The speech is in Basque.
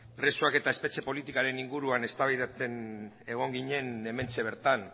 presoak eta espetxe politikaren inguruan eztabaidatzen egon ginen hementxe bertan